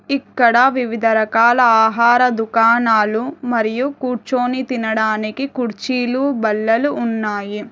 ఇక్కడ వివిధ రకాల ఆహార దుకాణాలు మరియు కూర్చొని తినడానికి కుర్చీలు బల్లలు ఉన్నాయి.